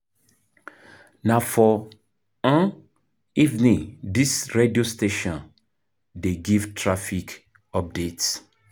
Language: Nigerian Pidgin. Na for evening dis radio station dey give traffic update.